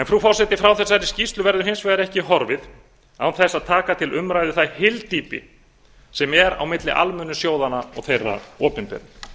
frú forseti frá þessari skýrslu verður hins vegar ekki horfið án þess að taka til umræðu það hyldýpi sem er á milli almennu sjóðanna og þeirra opinberu